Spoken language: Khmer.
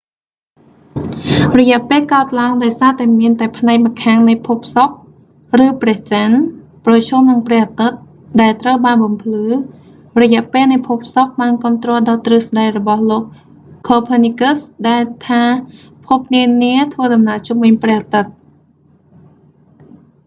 រយៈពេលកើតឡើង ដោយសារតែមានតែផ្នែកម្ខាងនៃភពសុក្រ ឬព្រះច័ន្ទ ប្រឈមនឹងព្រះអាទិត្យ ដែលត្រូវបានបំភ្លឺ រយៈពេលនៃភពសុក្រ បានគាំទ្រដល់ទ្រឹស្តីរបស់លោក copernicus ខូភើនីកឹស ដែលថាភពនានាធ្វើដំណើរជុំវិញព្រះអាទិត្យ